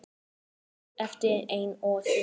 Hún stóð eftir ein og stundi.